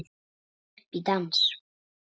Boðið upp í dans